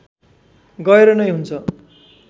गएर नै हुन्छ